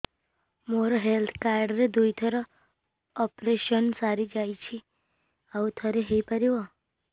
ମୋର health card ରେ ଦୁଇ ଥର ଅପେରସନ ସାରି ଯାଇଛି ଆଉ ଥର ହେଇପାରିବ